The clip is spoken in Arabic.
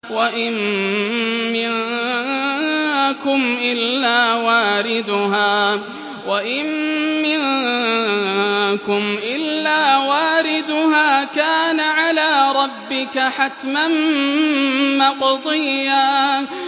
وَإِن مِّنكُمْ إِلَّا وَارِدُهَا ۚ كَانَ عَلَىٰ رَبِّكَ حَتْمًا مَّقْضِيًّا